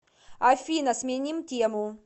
афина сменим тему